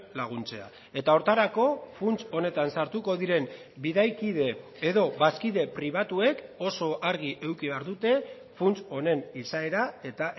laguntzea eta horretarako funts honetan sartuko diren bidaikide edo bazkide pribatuek oso argi eduki behar dute funts honen izaera eta